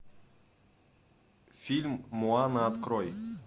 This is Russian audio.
фильм моана открой